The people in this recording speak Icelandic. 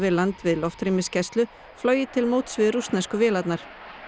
landi við loftrýmisgæslu flogið til móts við rússnesku vélarnar